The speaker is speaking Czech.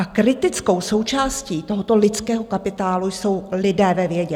A kritickou součástí tohoto lidského kapitálu jsou lidé ve vědě.